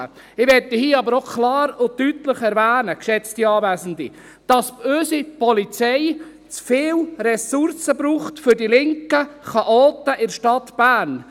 Ich möchte hier aber auch klar und deutlich erwähnen, geschätzte Anwesende, dass unsere Polizei zu viele Ressourcen braucht für die linken Chaoten in der Stadt Bern.